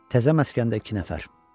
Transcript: Təzə məskəndə iki nəfər.